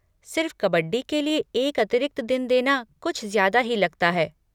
सिर्फ कबड्डी के लिए एक अतिरिक्त दिन देना कुछ ज्यादा ही लगता है।